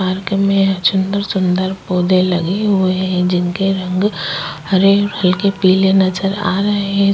Park में सुंदर-सुंदर पौधे लगे हुए हैं जिनके रंग हरे हल्के पीले नजर आ रहें।